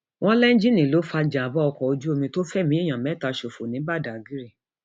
wọn lẹńjìnnì ló fa ìjàmbá ọkọ ojú omi tó fẹmí èèyàn mẹta ṣòfò ní badág